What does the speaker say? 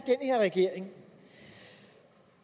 regering